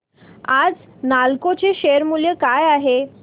आज नालको चे शेअर मूल्य काय आहे